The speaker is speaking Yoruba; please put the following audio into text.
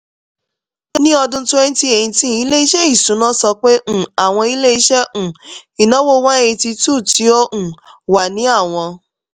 ni ọdun twenty eighteen ile-iṣẹ iṣuna sọ pe um awọn ile-iṣẹ um inawo one hundred eighty two ti o um wa ni awọn